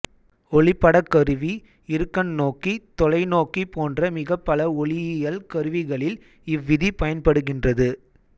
ஒளிப்படக் கருவி இருகண்ணோக்கி தொலைநோக்கி போன்ற மிகப் பல ஒளியியல் கருவிகளில் இவ்விதி பயன்படுகின்றது